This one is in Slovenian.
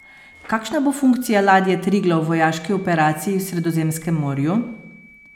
Kakšna bo funkcija ladje Triglav v vojaški operaciji v Sredozemskem morju?